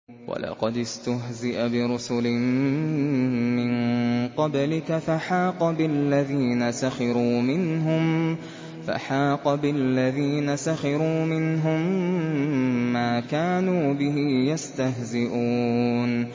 وَلَقَدِ اسْتُهْزِئَ بِرُسُلٍ مِّن قَبْلِكَ فَحَاقَ بِالَّذِينَ سَخِرُوا مِنْهُم مَّا كَانُوا بِهِ يَسْتَهْزِئُونَ